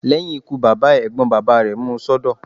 Lẹ́yìn ikú bàbá ẹ̀, Ẹ̀gbọ́n bàbá rẹ̀ mú un sọ́dọ̀.